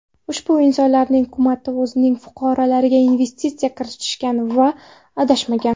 Ushbu insonlarning hukumati o‘zining fuqarolariga investitsiya kiritishgan va adashmagan.